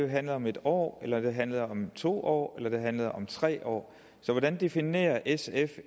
handler om en år eller om det handler om to år eller om det handler om tre år hvordan definerer sf